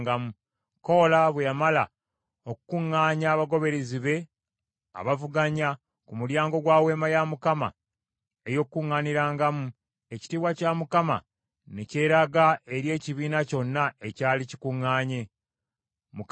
Koola bwe yamala okukuŋŋaanya abagoberezi be abavuganya, ku mulyango gwa Weema ey’Okukuŋŋaanirangamu, ekitiibwa kya Mukama Katonda ne kyeraga eri ekibiina kyonna ekyali kikuŋŋaanye.